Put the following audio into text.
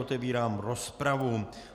Otevírám rozpravu.